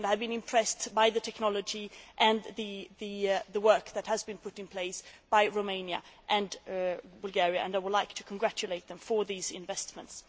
I have been impressed by the technology and the work that has been put in place by Romania and Bulgaria and I would like to congratulate them on these investments.